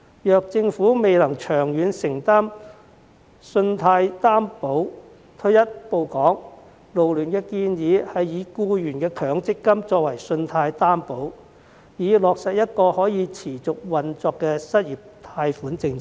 如政府未能長遠承擔信貸擔保，退一步來說，勞聯建議以僱員的強積金作為信貸擔保，以落實一項可持續運作的失業貸款政策。